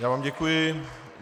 Já vám děkuji.